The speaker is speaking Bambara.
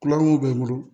Kulonkun bɛ n bolo